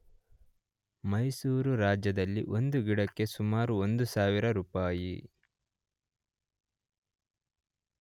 ಮೈಸೂರುರಾಜ್ಯದಲ್ಲಿ ಒಂದು ಗಿಡಕ್ಕೆ ಸುಮಾರು ೧ ಸಾವಿರ ರುಪಾಯಿ